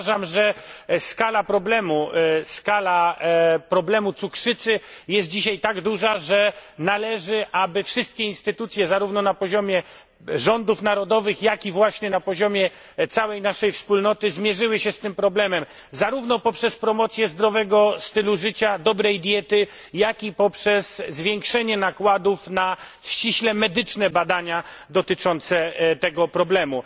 Uważam, że skala problemu cukrzycy jest dzisiaj tak duża, że należy, aby wszystkie instytucje zarówno na poziomie rządów narodowych, jak i właśnie na poziomie całej naszej wspólnoty zmierzyły się z tym problemem zarówno poprzez promocje zdrowego stylu życia, dobrej diety, jak i poprzez zwiększenie nakładów na ściśle medyczne badania dotyczące tego problemu.